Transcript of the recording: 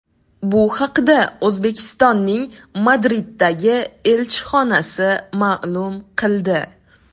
Bu haqda O‘zbekistonning Madriddagi elchixonasi ma’lum qildi .